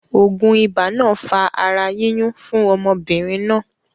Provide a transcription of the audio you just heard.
Ògùn ibà náà fa ara yíyún fún ọmọbìnrin náà